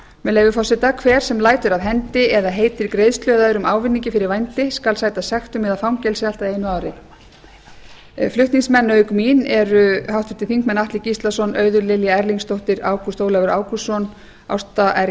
með leyfi forseta hver sem lætur af hendi eða heitir greiðslu eða öðrum ávinningi fyrir vændi skal sæta sektum eða fangelsi allt að einu ári flutningsmenn auk mín eru háttvirtir þingmenn atli gíslason auður lilja erlingsdóttir ágúst ólafur ágústsson ásta r